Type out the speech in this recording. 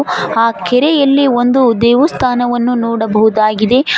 ಆ ಕೆರೆಯಲ್ಲಿ ಒಂದು ದೇವಸ್ಥಾನವನ್ನು ನೋಡಬಹುದಾಗಿದೆ.